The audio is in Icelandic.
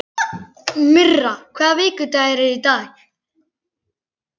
Myrra, hvaða vikudagur er í dag?